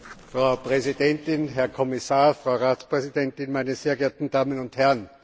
Frau Präsidentin, Herr Kommissar, Frau Ratspräsidentin, meine sehr geehrten Damen und Herren!